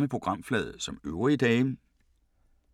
Samme programflade som øvrige dage